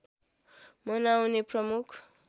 मनाउने प्रमुख